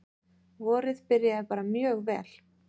Vorið byrjaði bara mjög vel.